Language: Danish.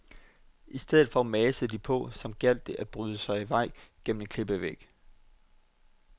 I stedet for masede de på, som gjaldt det om at bryde sig vej gennem en klippevæg.